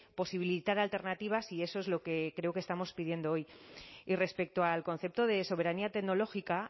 posibilitar alternativas y eso es lo que creo que estamos pidiendo hoy y respecto al concepto de soberanía tecnológica